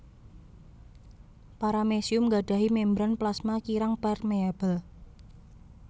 Paramecium gadahi membran plasma kirang permeabel